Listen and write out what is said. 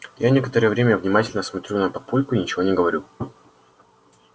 я некоторое время внимательно смотрю на папульку и ничего не говорю